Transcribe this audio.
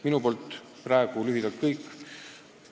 " Minu poolt praegu lühidalt kõik.